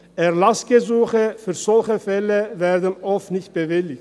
Erlassgesuche für solche Fälle werden oft nicht bewilligt.